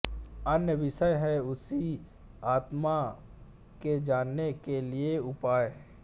अन्य विषय है उसी आत्मा के जानने के लिए उपाय